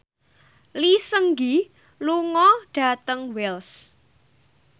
Lee Seung Gi lunga dhateng Wells